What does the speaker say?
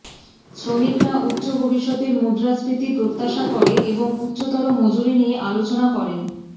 শ্রমিকরা উচ্চ ভবিষ্যতের মুদ্রাস্ফীতি প্রত্যাশা করে এবং উচ্চতর মজুরি নিয়ে আলোচনা করেন